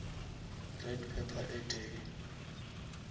red pepper e tee